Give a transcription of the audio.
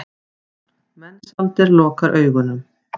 Mensalder lokar augunum.